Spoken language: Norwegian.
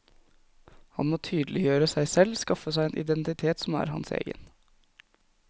Han må tydeliggjøre seg selv, skaffe seg en identitet som er hans egen.